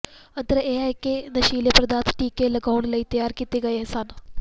ਅੰਤਰ ਇਹ ਹੈ ਕਿ ਇਹ ਨਸ਼ੀਲੇ ਪਦਾਰਥ ਟੀਕੇ ਲਗਾਉਣ ਲਈ ਤਿਆਰ ਕੀਤੇ ਗਏ ਸਨ